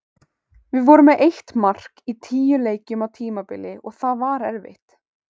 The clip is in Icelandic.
Við vorum með eitt mark í tíu leikjum á tímabili og það var erfitt.